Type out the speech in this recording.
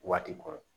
Waati kɔrɔ